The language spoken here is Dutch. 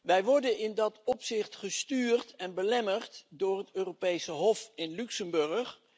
Wij worden in dat opzicht gestuurd en belemmerd door het Europese Hof in Luxemburg.